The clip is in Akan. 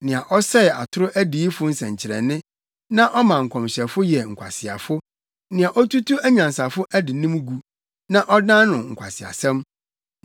nea ɔsɛe atoro adiyifo nsɛnkyerɛnne na ɔma nkɔmhyɛfo yɛ nkwaseafo, nea otutu anyansafo adenim gu na ɔdan no nkwaseasɛm,